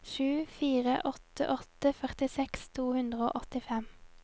sju fire åtte åtte førtiseks to hundre og åttifem